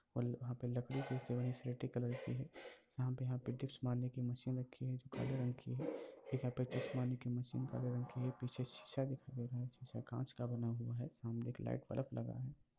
और यहाँ पर लकड़ी की स्लेटी कलर है जहाँ पर यहाँ पर डिप्स मारने की मशीन रखी हुई हैजो काले रंग की है एक यहाँ पर डिप्स मारने की मशीन काळा रंग की है पीछे शीशा काँच का बना हुआ है। सामने एक लाइट बल्ब लगा है।